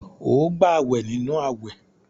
Óò gbàwè nínú àwẹ̀!